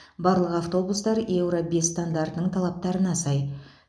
барлық автобустар еуро бес стандартының талаптарына сай